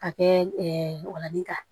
Ka kɛ ŋolan kan